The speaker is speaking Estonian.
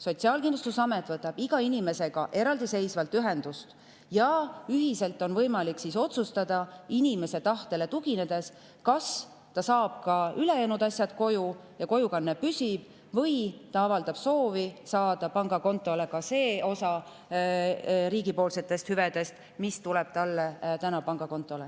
Sotsiaalkindlustusamet võtab iga inimesega eraldi ühendust ja ühiselt on võimalik otsustada, inimese tahtele tuginedes, kas ta saab ka ülejäänud asjad koju ja kojukanne või ta avaldab soovi saada pangakontole ka selle osa riigi hüvedest, mis praegu tema pangakontole.